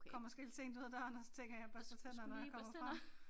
Kommer måske lidt sent ud af døren og så tænker jeg børster tænder når jeg kommer frem